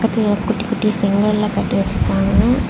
கத்தய குட்டி குட்டி செங்கல்லா கட்ட வச்சிருக்காங்க.